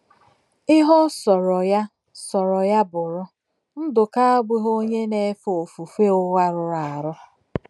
Ihe ọ sọrọ ya sọrọ ya bụrụ, Ndụka abụghị onye na - efe ofufe ụgha rụrụ arụ.